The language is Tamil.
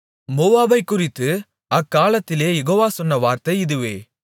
மோவாபைக்குறித்து அக்காலத்திலே யெகோவா சொன்ன வார்த்தை இதுவே